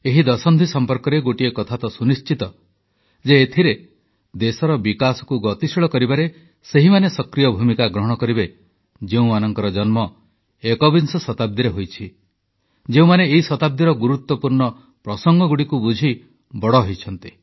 ଏହି ଦଶନ୍ଧି ସମ୍ପର୍କରେ ଗୋଟିଏ କଥା ସୁନିଶ୍ଚିତ ଯେ ଏଥିରେ ଦେଶର ବିକାଶକୁ ଗତିଶୀଳ କରିବାରେ ସେହିମାନେ ସକ୍ରିୟ ଭୂମିକା ଗ୍ରହଣ କରିବେ ଯେଉଁମାନଙ୍କ ଜନ୍ମ ଏକବିଂଶ ଶତାବ୍ଦୀରେ ହୋଇଛି ଯେଉଁମାନେ ଏହି ଶତାବ୍ଦୀର ଗୁରୁତ୍ୱପୂର୍ଣ୍ଣ ପ୍ରସଙ୍ଗଗୁଡ଼ିକୁ ବୁଝି ବଡ଼ ହେଉଛନ୍ତି